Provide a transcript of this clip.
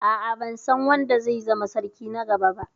A'a, ban san wanda zai zama sarki na gaba ba.